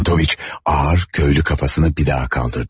Çentoviç ağır köylü kafasını bir daha kaldırdı.